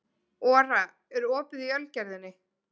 Ora, er opið í Ölgerðinni?